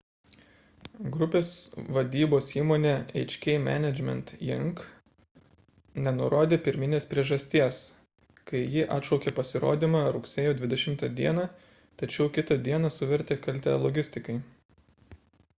grupės vadybos įmonė hk management inc nenurodė pirminės priežasties kai ji atšaukė pasirodymą rugsėjo 20 d tačiau kitą dieną suvertė kaltę logistikai